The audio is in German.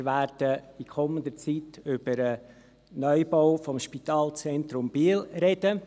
Wir werden in kommender Zeit über den Neubau des Spitalzentrums Biel sprechen.